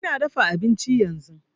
Ina dafa abinci yanzu